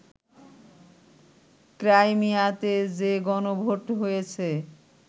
ক্রাইমিয়াতে যে গণভোট হয়েছে